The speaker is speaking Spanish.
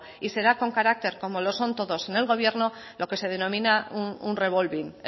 y será con carácter como lo son todos en el gobierno lo que se denomina un revolving